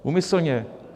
Úmyslně.